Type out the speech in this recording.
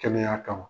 Kɛnɛya kama